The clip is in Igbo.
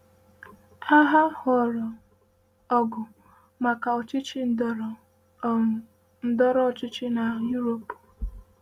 Agha ghọrọ ọgụ maka ọchịchị ndọrọ um ndọrọ ọchịchị n’Europe.